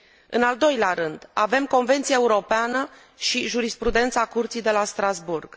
În al doilea rând, avem Convenția Europeană și jurisprudența Curții de la Strasbourg.